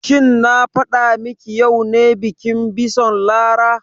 Shin na faɗa ma ki yau ne bikin bison Lara?